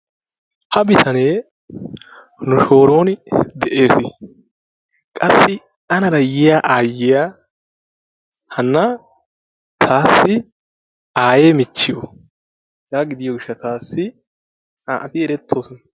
ha bitanee nu shooron de'ees. qassi anaara yiyya aayyia hana taassi aayye michchiyo hegaa gidiyo gishshatssi naa''ati erettoosona.